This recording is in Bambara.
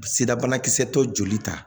Sirabanakisɛ dɔ joli ta